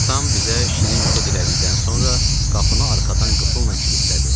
Atam bizə şirin yuxu dilədikdən sonra qapını arxadan qıfılla kilidlədi.